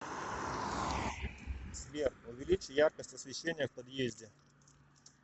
сбер увеличь яркость освещения в подъезде